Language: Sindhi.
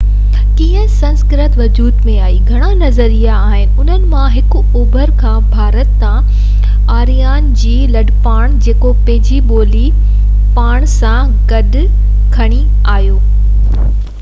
ڪيئن سنسڪرت وجود ۾ آئي بابت گهڻا نظريا آهن انهن مان هڪ اوڀر کان ڀارت ڏانهن آريان جي لڏپلاڻ جيڪو پنهنجي ٻولي پاڻ سان گڏ کڻي آهيو بابت آهي